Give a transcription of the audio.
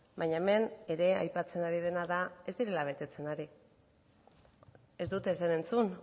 baina hemen ere aipatzen ari dena da ez direla betetzen ari ez dut ezer entzun